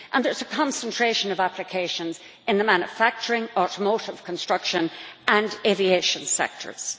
There is a concentration of applications in the manufacturing, automotive construction and aviation sectors.